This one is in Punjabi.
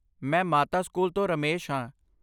ਮੈਂ ਮਾਤਾ ਸਕੂਲ ਤੋਂ ਰਮੇਸ਼ ਹਾਂ